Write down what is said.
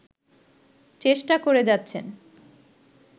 চেষ্টা করে যাচ্ছেন